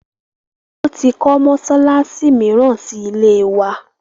Wọn tí kọ́ mọsálásí míràn síí ilé wa.